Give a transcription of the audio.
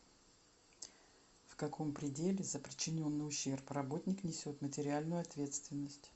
в каком пределе за причиненный ущерб работник несет материальную ответственность